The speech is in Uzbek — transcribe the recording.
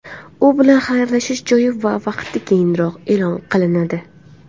U bilan xayrlashish joyi va vaqti keyinroq e’lon qilinadi.